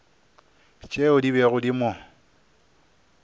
tšeo di bego di mo